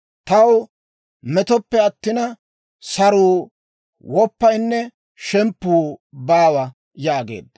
Taw metoppe attina, saruu, woppaynne shemppuu baawa» yaageedda.